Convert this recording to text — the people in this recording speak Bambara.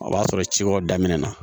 O b'a sɔrɔ ci wɛrɛw daminɛ na